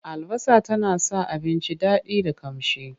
Albasa tana sa abinci daɗi da ƙamshi.